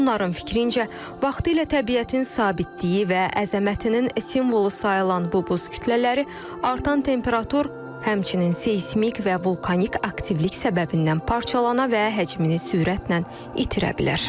Onların fikrincə, vaxtilə təbiətin sabitliyi və əzəmətinin simvolu sayılan bu buz kütlələri artan temperatur, həmçinin seysmik və vulkanik aktivlik səbəbindən parçalana və həcmini sürətlə itirə bilər.